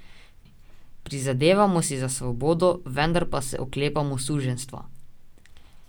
Prizadevamo si za svobodo, vendar pa se oklepamo suženjstva.